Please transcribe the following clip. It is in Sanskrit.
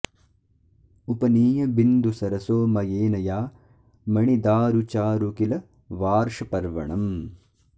उपनीय बिन्दुसरसो मयेन या मणिदारु चारु किल वार्षपर्वणम्